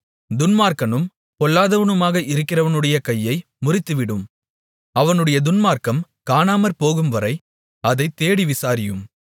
துன்மார்க்கனும் பொல்லாதவனுமாக இருக்கிறவனுடைய கையை முறித்துவிடும் அவனுடைய துன்மார்க்கம் காணாமற்போகும்வரை அதைத் தேடி விசாரியும்